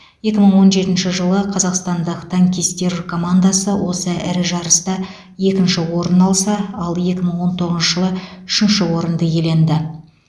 екі мың он жетінші жылы қазақстандық танкистер командасы осы ірі жарыста екінші орын алса ал екі мың он тоғызыншы жылы үшінші орынды иеленді